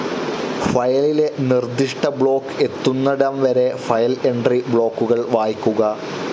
ഫയലിലെ നിർദിഷ്ട ബ്ലോക്ക്‌ എത്തുന്നിടംവരെ ഫയൽ എൻട്രി ബ്ലോക്കുകൾ വായിക്കുക.